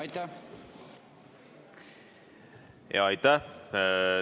Aitäh!